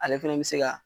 Ale fɛnɛ bɛ se ka